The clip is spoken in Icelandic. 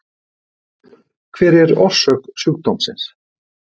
Hver er orsök sjúkdómsins?